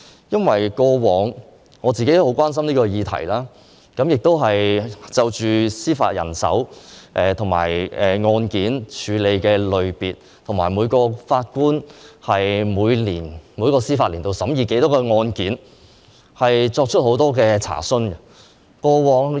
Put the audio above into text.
因為我過往也很關心這項議題，亦曾就司法人手及處理的案件類別，以及每名法官在每個司法年度審議多少宗案件，作出很多查詢。